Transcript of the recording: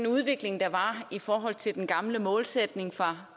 udvikling der var i forhold til den gamle målsætning fra